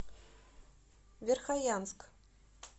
верхоянск